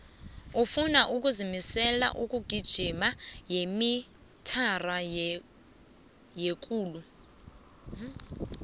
ufuno ukuzimlsela umgijimo wemitara yekulu